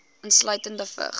insluitende vigs